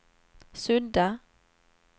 sudda